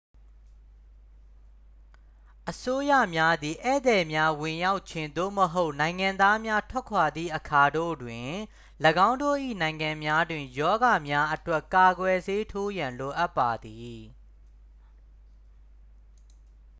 အစိုးရများသည် ဧည့်သည်များဝင်ရောက်ခြင်း သို့မဟုတ် နိုင်ငံသားများထွက်ခွာသည့်အခါတို့တွင်၎င်းတို့၏နိုင်ငံများတွင် ရောဂါများအတွက် ကာကွယ်ဆေးထိုးရန်လိုအပ်ပါသည်